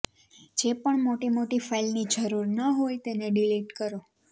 જે પણ મોટી મોટી ફાઈલની જરૂરન હોય તેને ડિલીટ કરો